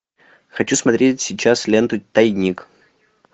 хочу смотреть сейчас ленту тайник